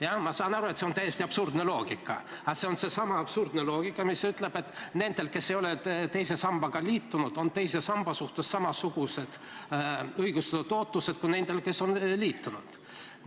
Jaa, ma saan aru, et see on täiesti absurdne loogika, aga see on seesama absurdne loogika, mis ütleb, et nendel, kes ei ole teise sambaga liitunud, on teise samba suhtes samasugused õigustatud ootused kui nendel, kes on liitunud.